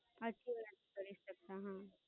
હાચી વાત કરે છે તું.